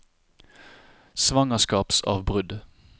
svangerskapsavbrudd